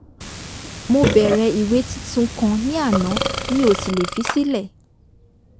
mo bẹ̀rẹ̀ ìwé tuntun kan ní àná mi ò sì lè fi sílẹ̀